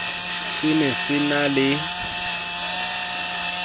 se ne se na le